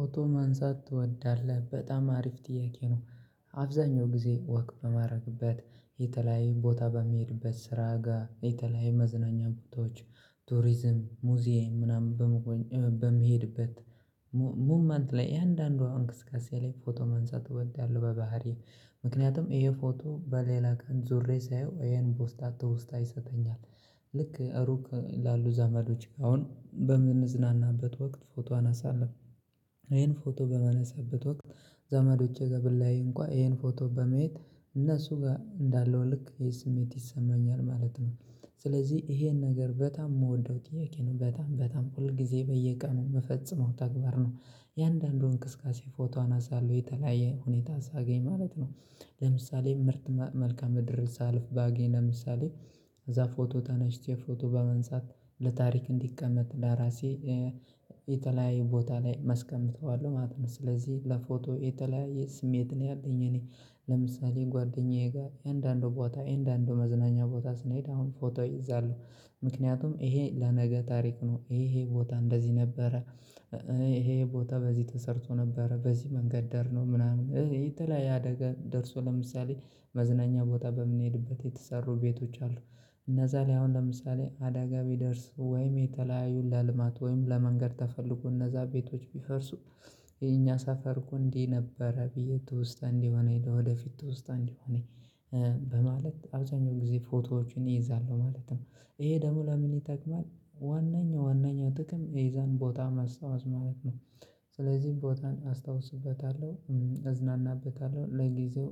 ፎቶ ማንሳት ትወዳለህ በጣም አሪፍ ጥያቄ ነው? አብዛኛው ጊዜ ወክ በማድረግበት የተለያየ ቦታ በምሄድበት ስራ ጋር የተለያዩ መዝናኛ ቦታዎች ቱሪዝም ሙዚየም ምናምን በመሆን በምሄድበት ሙመንት ላይ እያንዳንዷ እንቅስቅቃሴ ላይ ፎቶ ማንሳት እወዳለሁ። በባህሪየ ምክንያቱም ይሄ ፎቶ በሌላ ቀን ዞሬ ሳየው ይሄን ቦስታ ትውስታ ይሰጠኛል። ልክ ሩቅ ላሉ ዘመዶች አሁን በምንዝናናበት ወቅት ፎቶ አነሳለሁ ይኼን ፎቶ በማነሳ በት ወቅት ዘመዶቼ ጋብለያይ እንኳን ይሄን ፎቶ በማየት እነሱ ጋር እንዳለው ልክይኸስሜት ይሰማኛል ማለት ነው። ስለዚህ ይሄን ነገር በጣም የምወደው ጥያቄ ነው በጣም በጣም ሁል ጊዜ በየቀኑ የምፈጸመው ተግባር ነው። እያንዳንዱን እንቅስቃሴ ፎቶ አነሳለሁ የተለያየ ሁኔታ ሳገኝ ማለት ነው። ለምሳሌ ምርጥ መመልክአ ምድርን ሳልፍ ባገኝ ለምሳሌ እዛ ፎቶ ተነሽቼ ፎቶ በማንሳት ለታሪክ እንዲቀመጥ ለራሴ የተለያየ ቦታ ላይ መ አስቀምጥዋለሁ ማለት ነው። ስለዚህ ለፎቶ የተለያየ ስሜት ነው ያለኝ እኔ ለምሳሌ ጓደኛዬ ጋር እያንዳንዱ ቦታ እያንዳንዱ መዝናኛ ቦታ ስንሄድ አሁን ፎቶ እይዛለሁ። ምክንያቱም ይሄ ለነገ ታሪክ ነው ይሄ ቦታ እንደዚህ ነበረ ይሄ ይሄ ቦታ በዚህ ተሰርቶ ነበረ በዚህ መንገድ ዳር ነው ምናምን ይሄ የተለያየ አደጋ ደርሶ ለምሳሌ መዝናኛ ቦታ በምንሄድበት የተሰሩ ቤቶች አሉ። እነዛ ላይ አሁን ለምሳሌ አደጋ ቢደርስ ወይም የተለያዩ ለልማት ወይም ለመንገድ ተፈልጎ እነዛ ቤቶች ቢፈርሱ የኛ ሰፈር እኮ እንዲህ ነበረ ብዬ ትወስታ እንዲሆነኝ ወደፊት ትወስታ እንዲሆን በማለት አብዛኛው ጊዜ ፎቶዎችን እይዛለሁ። ማለት ነው ይሄ ደግሞ ለምን ይጠቅማል ዋነኛው ዋነኛው ጥቅም የዛን ቦታ ማስታወስ ማለት ነው። ስለዚህ ቦታን አስታውስበታለሁ እዝናናበታለሁ ለጊዜው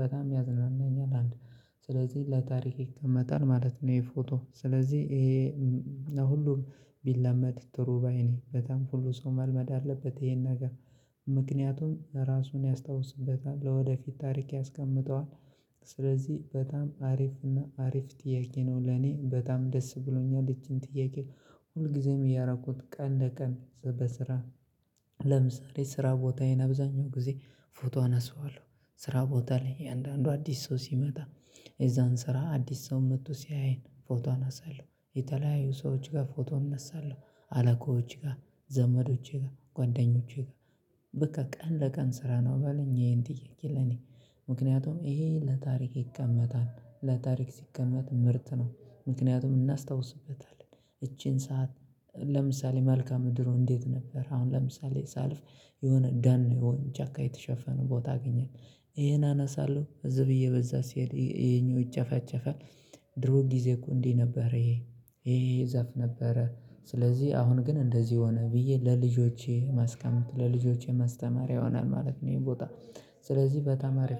በጣም ያዝናናኛል አንድ ስለዚህ ለታሪክ ይቀመታል ማለት ነው። ይሄ ፎቶ ስለዚህ ይሄ ሁሉም ቢለመድ ጥሩባይ ነኝ በጣም ሁሉ ሰው መልመድ አለበት ይሄን ነገር ምክንያቱም ራሱን ያስታውስበታል ለወደፊት ታሪክ ያስቀምጠዋል። ስለዚህ በጣም አሪፍና አሪፍ ጥያቄ ነው። ለኔ በጣም ደስ ብሎኛል ይቺን ጥያቄ ሁልጊዜም እያደረኩት ቀን እንደ ቀን በስራ ለምሳሌ ስራ ቦታዬን አብዛኛው ጊዜ ፎቶ አነሳዋለሁ። ስራ ቦታ ላይ የአንዳንዱ አዲስ ሰው ሲመጣ የዛን ስራ አዲስ ሰው መጥቶ ሲያየን ፎቶ አነሳዋለሁ የተለያዩ ሰዎች ጋር ፎቶ እነሳለሁ። አለቆች ጋር ዘመዶቼ ጋር ጓደኞቼ ጋር በቃ ቀን ለቀን ስራ ነው በለኝ ይሄን ጥያቄ ለኔ ምክንያቱም ይሄ ለታሪክ ይቀመጣል ለታሪክ ሲቀመጥ ምርጥ ነው። ምክንያቱም እናስታውስበታለን እቺን ሰዓት ለምሳሌ መልክአ ምድሩ እንዴት ነበር አሁን ለምሳሌ ሳልፍ የሆነ ደን የሆነ ጫካ የተሸፈነ ቦታ አገኘን ይሄን አነሳለሁ ህዝ ብ እየበዛ ሲሄድ ይኼፕው ይጨፈጨፋል። ድሮ ጊዜ እኮ እንዲህ ነበር ይሄ ይሄ ዛፍ ነበረ ስለዚህ አሁን ግን እንደዚህ ሆነ ብዬ ለልጆቼ ማስቀመጥ ለልጆቼ ማስተማሪያ ይሆናል ማለት ነው። ይሄ ቦታ ስለዚህ በጣም አሪፍ